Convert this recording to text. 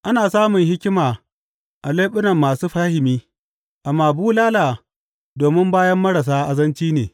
Ana samun hikima a leɓunan masu fahimi, amma bulala domin bayan marasa azanci ne.